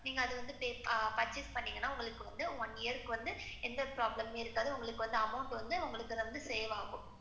நீங்க வந்து அதை purchase பண்ணிணீங்கன்னா, one year ருக்கு வந்து எந்த problem இருக்காது. உங்களுக்கு வந்து amount வந்து உங்களுக்கு save ஆகும்.